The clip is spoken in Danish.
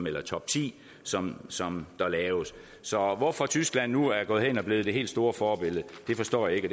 eller topti som som der laves så hvorfor tyskland nu er gået hen og er blevet det helt store forbillede forstår jeg ikke